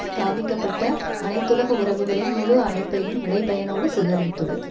ஸ்தாபிக்க பட்ட அனைத்துலக உறவுகளின் முழு அமைப்பையும் விளைபயனோடு சிதறடித்துள்ளது